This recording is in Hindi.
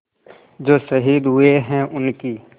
जो शहीद हुए हैं उनकी